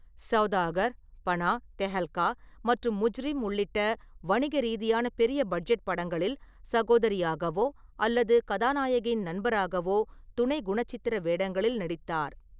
சௌதாகர், பனா, தெஹல்கா மற்றும் முஜ்ரிம் உள்ளிட்ட வணிக ரீதியான பெரிய பட்ஜெட் படங்களில் சகோதரியாகவோ அல்லது கதாநாயகியின் நண்பராகவோ துணை குணச்சித்திர வேடங்களில் நடித்தார்.